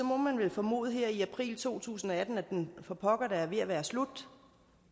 må man vel formode her i april to tusind og atten at den for pokker da er ved at være slut